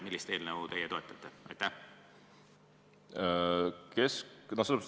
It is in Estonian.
Millist eelnõu teie toetate?